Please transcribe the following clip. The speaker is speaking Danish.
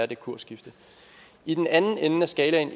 det kursskifte i den anden ende af skalaen